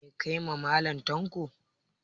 Meh ka yi ma Mallam tanko?